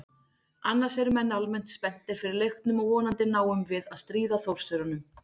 Annars eru menn almennt spenntir fyrir leiknum og vonandi náum við að stríða Þórsurunum.